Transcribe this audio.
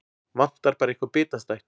Vantar bara eitthvað bitastætt.